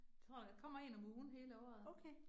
Tror der kommer 1 om ugen hele året